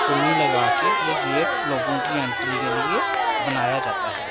चुन्नी लगा के ये गेट लोगों की एंट्री के लिए बनाया जाता है।